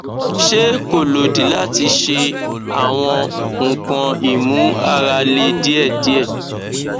se ko lodi lati she awon nkan imu ara le diedie